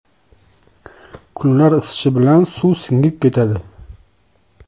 Kunlar isishi bilan suv singib ketadi.